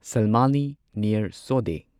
ꯁꯜꯃꯥꯂꯤ ꯅꯤꯌꯔ ꯁꯣꯗꯦ